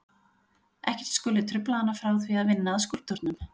Ekkert skuli trufla hana frá því að vinna að skúlptúrnum.